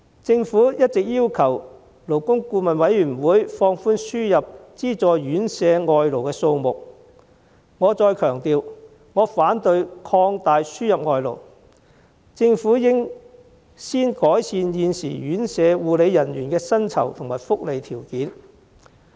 政府一直要求勞工顧問委員會放寬輸入資助院舍外勞的數目，我再強調，我反對擴大輸入外勞，政府應先改善現時院舍護理人員的薪酬和福利條件。